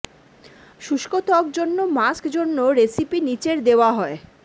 শুষ্ক ত্বক জন্য মাস্ক জন্য রেসিপি নীচের দেওয়া হয়